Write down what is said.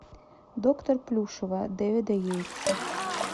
доктор плюшева дэвида йейтса